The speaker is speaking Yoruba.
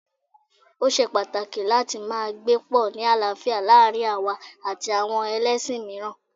Ó ṣe pàtàkì láti máa gbé pọ̀ ni àlàáfíà láàárín àwa àti àwọn ẹlẹ́ṣin mìíràn